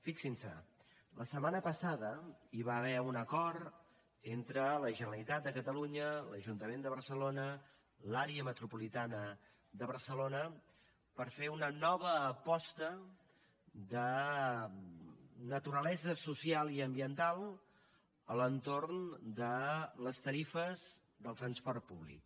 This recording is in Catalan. fixin s’hi la setmana passada hi va haver un acord entre la generalitat de catalunya l’ajuntament de barcelona i l’àrea metropolitana de barcelona per fer una nova aposta de naturalesa social i ambiental a l’entorn de les tarifes del transport públic